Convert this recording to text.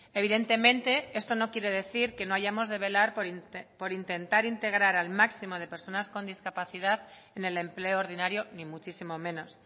evidentemente esto no quiere decir que no hayamos de velar por intentar integrar al máximo de personas con discapacidad en el empleo ordinario ni muchísimo menos